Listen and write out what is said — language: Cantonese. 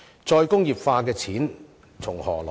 "再工業化"的錢從何來？